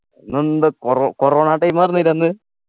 അന്നെന്താ കോറോ corona time ആയിരുന്നില്ലേ അന്ന്